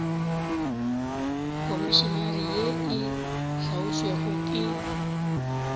komišenare ye e hlaotšwego ke